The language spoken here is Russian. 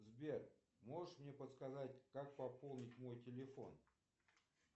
сбер можешь мне подсказать как пополнить мой телефон